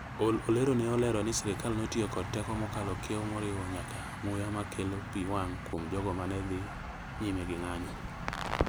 Ol Olero ne olero ni sirkal notiyo kod teko mokalo kiewo moriwo nyaka muya ma kelo pi wang’ kuom jogo ma ne odhi nyime gi ng’anjo.